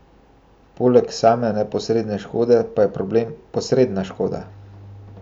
Poleg same neposredne škode pa je problem posredna škoda.